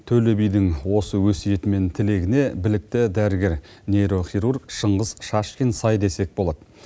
төле бидің осы өсиеті мен тілегіне білікті дәрігер нейрохирург шыңғыс шашкин сай десек болады